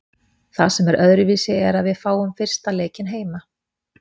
Það sem er öðruvísi er að víð fáum fyrsta leikinn heima.